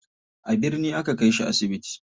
A birni aka kai shi asibiti.